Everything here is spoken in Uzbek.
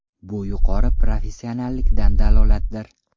Bu yuqori professionallikdan dalolatdir.